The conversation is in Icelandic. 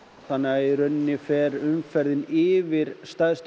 þannig að í rauninni fer umferðin yfir stærstu